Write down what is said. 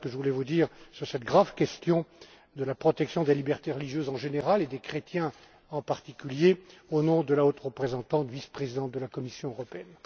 Voilà ce que je voulais vous dire sur cette grave question de la protection des libertés religieuses, en général, et des chrétiens, en particulier, au nom de la vice présidente haute représentante de l'Union européenne.